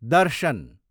दर्शन